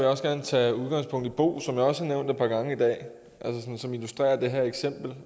også gerne tage udgangspunkt i bo som jeg også har nævnt par gange i dag som illustrerer det her eksempel